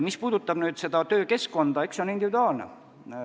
Mis puudutab nüüd seda töökeskkonda, siis suhtumine on individuaalne.